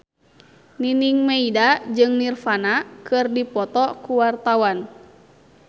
Nining Meida jeung Nirvana keur dipoto ku wartawan